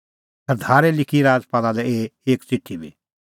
सरदारै लिखी राजपाला लै एही एक च़िठी बी